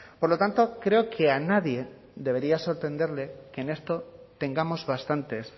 por lo tanto creo que a nadie debería sorprenderle que en esto tengamos bastantes